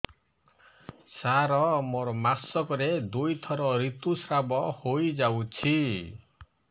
ସାର ମୋର ମାସକରେ ଦୁଇଥର ଋତୁସ୍ରାବ ହୋଇଯାଉଛି